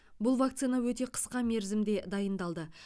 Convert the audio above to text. бұл вакцина өте қысқа мерзімде дайындалды